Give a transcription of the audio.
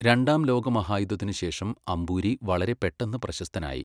രണ്ടാം ലോകമഹായുദ്ധത്തിനു ശേഷം അമ്പൂരി വളരെ പെട്ടെന്ന് പ്രശസ്തനായി.